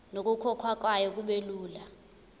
nokukhokhwa kwayo kubelula